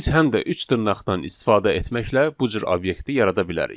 Biz həm də üç dırnaqdan istifadə etməklə bu cür obyekti yarada bilərik.